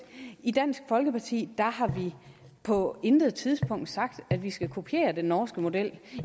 i dansk folkeparti har vi på intet tidspunkt sagt at vi skal kopiere den norske model